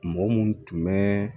Mɔgɔ minnu tun bɛ